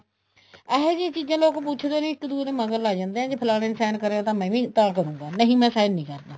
ਅਹਿਜੇ ਚੀਜ਼ਾਂ ਲੋਕ ਪੁੱਛਦੇ ਨਹੀਂ ਇੱਕ ਦੂਹੇ ਦੇ ਮਗਰ ਲੱਗ ਜਾਂਦੇ ਹੈ ਜ਼ੇ ਫਲਾਣੇ ਨੇ sign ਕਰੇ ਹੈ ਮੈਂ ਵੀ ਤਾਂ ਕਰੂਗਾ ਨਹੀਂ ਮੈਂ sign ਨਹੀਂ ਕਰਦਾ